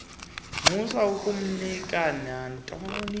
musa ukumniika nantoni